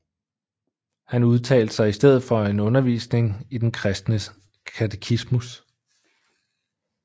Han udtalte sig i stedet for en undervisning i den kristne katechismus